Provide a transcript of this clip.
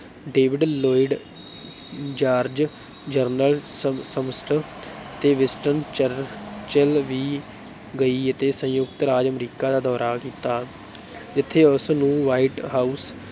David Lloyd George, general ਸਮ Smuts ਤੇ Winston Churchill ਵੀ ਗਈ ਅਤੇ ਸੰਯੁਕਤ ਰਾਜ ਅਮਰੀਕਾ ਦਾ ਦੌਰਾ ਕੀਤਾ ਜਿੱਥੇ ਉਸ ਨੂੰ white house